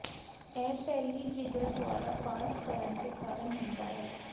ਇਹ ਪਹਿਲੀ ਜਿਗਰ ਦੁਆਰਾ ਪਾਸ ਕਰਨ ਦੇ ਕਾਰਨ ਹੁੰਦਾ ਹੈ